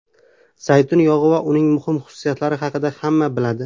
Zaytun yog‘i va uning muhim xususiyatlari haqida hamma biladi.